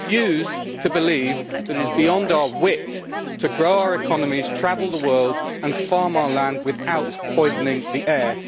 I refuse to believe that it is beyond our wit to grow our economies, travel the world and farm our land without poisoning the air.